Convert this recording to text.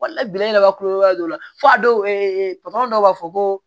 Wala bilen ka kulonkɛ don fɔ a dɔw dɔw b'a fɔ ko